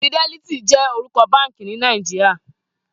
Fidèlítì jè órúkò bànkí ni Nàijíá